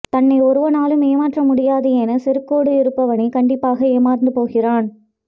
தன்னை ஒருவராலும் ஏமாற்ற முடியாது எனச் செருக்கோடு இருப்பவனே கண்டிப்பாக ஏமாந்து போகிறான்